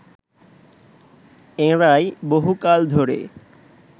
এঁরাই বহুকাল ধরে